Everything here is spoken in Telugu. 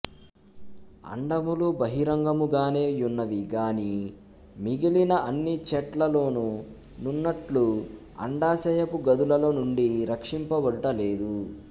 అండములు బహిరంగముగనే యున్నవి గాని మిగిలిన అన్ని చెట్లలోను నున్నట్లు అండాశయపు గదులలో నుండి రక్షింప బడుట లేదు